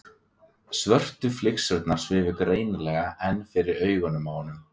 Svörtu flygsurnar svifu greinilega enn fyrir augunum á honum.